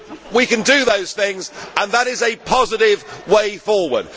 We can do these things, and that is a positive way forward.